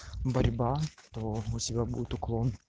борьба то у тебя будут уклон